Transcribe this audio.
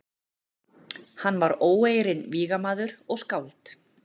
Hann var óeirinn vígamaður og skáld.